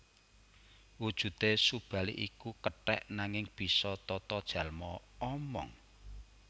Wujudé Subali iku kethèk nanging bisa tatajalma omong